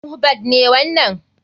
Mohbad ne wanan.